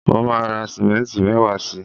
mo ma ra simenti mewaa si